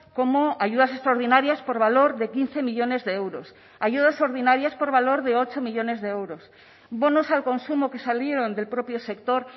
como ayudas extraordinarias por valor de quince millónes de euros ayudas ordinarias por valor de ocho millónes de euros bonos al consumo que salieron del propio sector